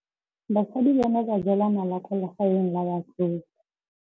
Basadi ba ne ba jela nala kwaa legaeng la batsofe.